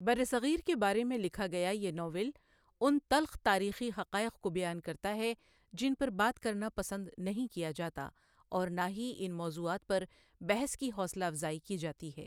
برصغیر کے بارے میں لکھا گیا یہ ناول ان تلخ تاریخی حقائق کو بیان کرتا ہے جن پہ بات کرنا پسند نہیں کیا جاتا اور نہ ہی ان موضوعات پر بحث کی حوصلہ افزائی کی جاتی ہے.